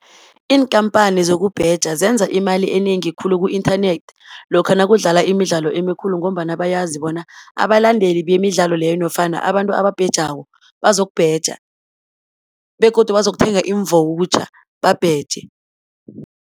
Iinkampani zokubheja zenza imali enengi khulu ku-inthanethi, lokha nakudlala imidlalo emikhulu, ngombana bayazi bona abalandeli bemidlalo leyo nofana abantu ababhejako, bazokubheja, begodu bazokuthenga iimvowutjha babheje.